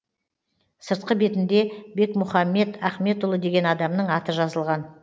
сыртқы бетінде бекмұхаммет ахметұлы деген адамның аты жазылған